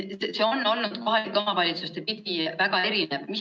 See on olnud kohalikes omavalitsustes väga erinev.